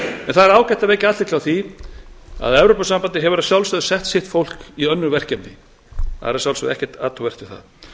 er ágætt að vekja athygli á því að evrópusambandið hefur að sjálfsögðu sett sitt fólk í önnur verkefni það er að sjálfsögðu ekkert athugavert við það